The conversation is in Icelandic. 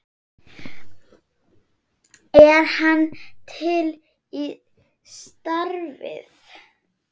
Er hann til í starfið?